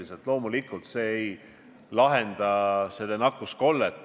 See oli tõsine, selge, isegi võiks öelda, et sümpaatne.